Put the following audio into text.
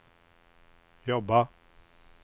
jobba